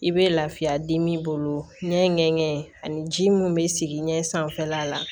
I bɛ lafiya dimi bolo ɲɛŋɛ ani ji mun bɛ sigi ɲɛ sanfɛla la